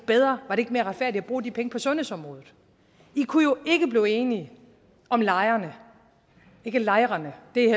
bedre var det ikke mere retfærdigt at bruge de penge på sundhedsområdet i kunne jo ikke blive enige om lejerne ikke lejrene det er